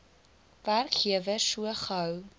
werkgewer so gou